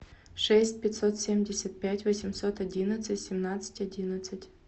шесть пятьсот семьдесят пять восемьсот одинадцать семнадцать одиннадцать